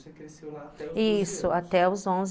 isso, até os onze.